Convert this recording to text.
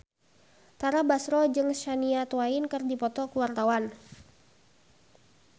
Tara Basro jeung Shania Twain keur dipoto ku wartawan